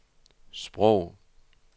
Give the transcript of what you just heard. sprog